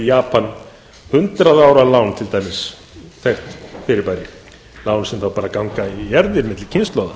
japan til dæmis hundrað ára lán þekkt fyrirbæri lán sem þá bara ganga í erfðir milli kynslóða